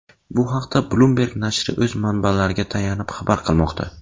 Bu haqda Bloomberg nashri o‘z manbalariga tayanib xabar qilmoqda .